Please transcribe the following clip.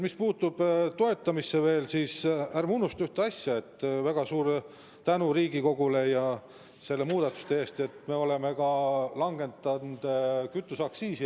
Mis puutub veel toetamisse, siis ärme unustame ühte asja: väga suur tänu Riigikogule selle muudatuse eest, et me oleme langetanud eridiisli kütuseaktsiisi.